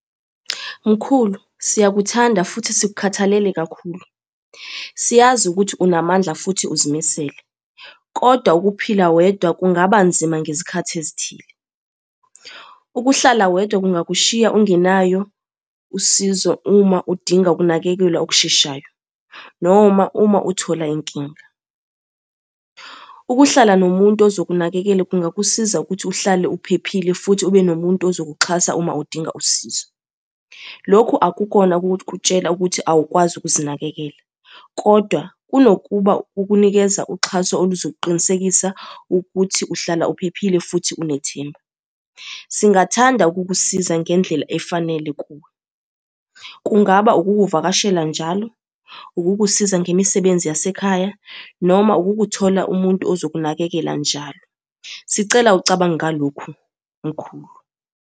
Mkhulu, siyakuthanda futhi sikukhathalele kakhulu. Siyazi ukuthi unamandla futhi uzimisele, kodwa ukuphila wedwa kungaba nzima ngezikhathi ezithile. Ukuhlala wedwa kungakushiya ungenayo usizo uma udinga ukunakekelwa okusheshayo, noma uma uthola inkinga. Ukuhlala nomuntu ozokunakekela kungakusiza ukuthi uhlale uphephile futhi ube nomuntu ozokuxhasa uma udinga usizo. Lokhu akukona ukukutshela ukuthi awukwazi ukuzinakekela, kodwa kunokuba ukunikeza uxhaso oluzokuqinisekisa ukuthi uhlala uphephile futhi unethemba. Singathanda ukukusiza ngendlela efanele kuwe. Kungaba ukukuvakashela njalo, ukukusiza ngemisebenzi yasekhaya, noma ukukuthola umuntu ozokunakekela njalo. Sicela ucabange ngalokhu mkhulu.